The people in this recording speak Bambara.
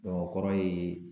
o kɔrɔ ye